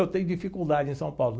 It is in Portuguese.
Eu tenho dificuldade em São Paulo.